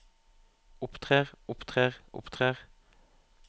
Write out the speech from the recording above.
opptrer opptrer opptrer